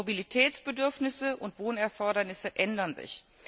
Die Mobilitätsbedürfnisse und Wohnerfordernisse ändern sich.